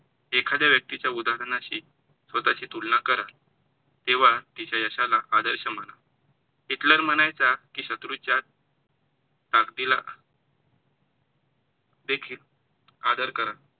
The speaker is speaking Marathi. एखाद्या व्यक्तीच्या उदाहरणाशी स्वतःची तुलना करा, तेंव्हा तिच्या यशाला आदर्श माना. हिटलर म्हणायचं की शत्रू च्या ताकतीला देखील आदर करा.